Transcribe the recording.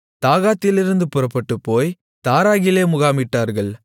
தாகாத்திலிருந்து புறப்பட்டுப்போய் தாராகிலே முகாமிட்டார்கள்